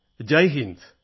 Jai Hind